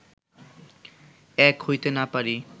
এক হইতে না পারি